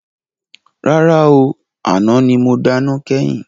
Rárá ooo, àná ni mo dáná kẹ́yìn.